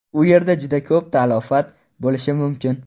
U yerda juda ko‘p talafot bo‘lishi mumkin.